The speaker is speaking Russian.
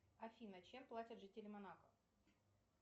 афина чем платят жители монако